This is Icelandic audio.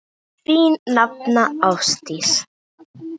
Þín nafna, Ásdís.